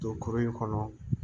Don kurun in kɔnɔ